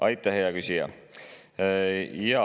Aitäh, hea küsija!